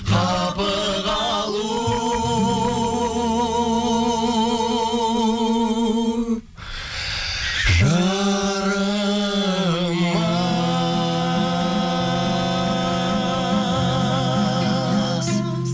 қапы қалу жарамас